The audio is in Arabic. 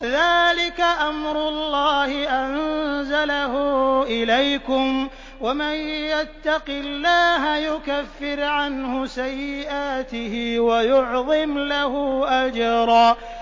ذَٰلِكَ أَمْرُ اللَّهِ أَنزَلَهُ إِلَيْكُمْ ۚ وَمَن يَتَّقِ اللَّهَ يُكَفِّرْ عَنْهُ سَيِّئَاتِهِ وَيُعْظِمْ لَهُ أَجْرًا